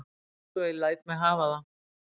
Svo ég læt mig hafa það.